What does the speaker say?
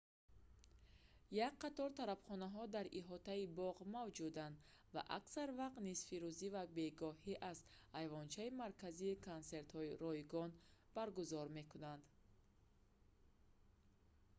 як қатор тарабхонаҳо дар иҳотаи боғ мавҷуданд ва аксар вақт нисфирӯзӣ ва бегоҳӣ аз айвончаи марказӣ консертҳои ройгон баргузор мекунанд